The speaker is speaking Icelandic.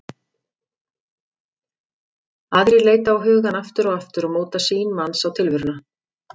Aðrar leita á hugann aftur og aftur og móta sýn manns á tilveruna.